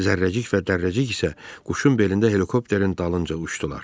Zərrəcik və Dərrəcik isə quşun belində helikopterin dalınca uçdular.